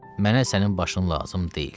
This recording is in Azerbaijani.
Mənə sənin başın lazım deyil.